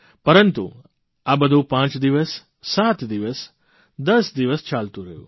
પરંતુ આ બધું પાંચ દિવસ સાત દિવસ દસ દિવસ ચાલતું રહ્યું